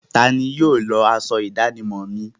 Tani yóò lọ aṣọ ìdánimọ̀ mi?